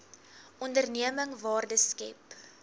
onderneming waarde skep